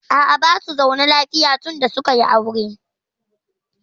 A'a, basu zaune lafiya tun da suka yi aure.